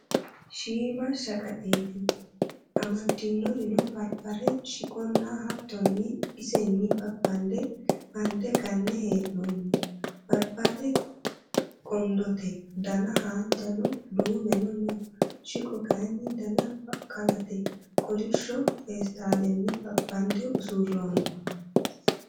Shiima shaqaxeeti amaddinorino barbare shiqonna hattonni isenni babbande made ganne he'noonni. Barbare qondote, Dana haanjano duumeno no.shiqo kayinni Dana baqqalate. Kolishsho feestaallanni babbande usurroonni.